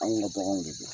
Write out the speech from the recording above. Anw ka baganw de don